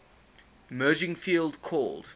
emerging field called